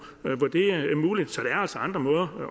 hvor det er muligt så der er altså andre måder